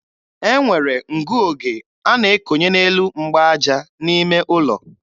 E nwere ngụoge a na-ekonye n'elu mgbaaja n'ime ụlọ.